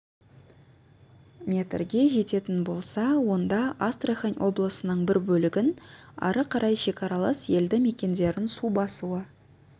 метрге жететін болса онда астрахань облысының бір бөлігін ары қарай шекаралас елді мекендерін су басуы